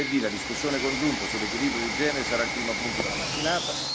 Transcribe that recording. Giovedì La discussione congiunta sull'Equilibrio di genere sarà il primo punto della mattinata.